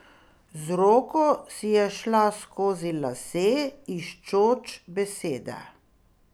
Z roko si je šla skozi lase, iščoč besede.